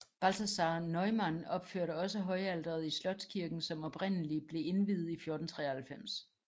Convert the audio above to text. Balthasaar Neumann opførte også højalteret i slotskirken som oprindelig ble indviet i 1493